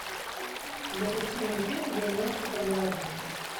запусти мне фильм вернешься поговорим